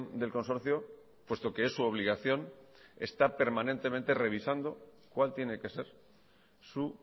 del consorcio puesto que es su obligación está permanentemente revisando cuál tiene que ser su